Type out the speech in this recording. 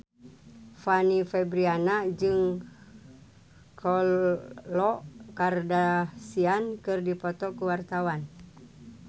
Fanny Fabriana jeung Khloe Kardashian keur dipoto ku wartawan